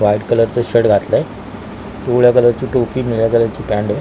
वाईट कलर चा शर्ट घातलाय पिवळा कलरची टोपी निळ्या कलरची पॅन्ट घा --